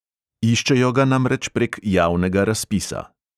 Iščejo ga namreč prek javnega razpisa.